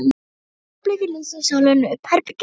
Á því augnabliki lýsir sólin upp herbergið.